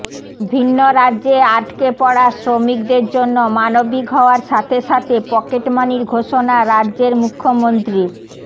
ভিন্ন রাজ্যে আটকে পড়া শ্রমিকদের জন্য মানবিক হওয়ার সাথে সাথে পকেটমানির ঘোষণা রাজ্যের মুখ্যমন্ত্রীর